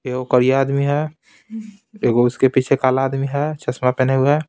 एगो करिया आदमी है एगो उसके पीछे काला आदमी है चश्मा पहने हुए।